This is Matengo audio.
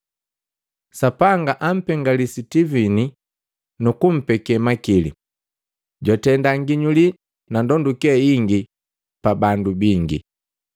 Sapanga ampengeli Sitivini nukumpeke makili, jwatenda nginyuli na ndonduke ingi pabandu bingi.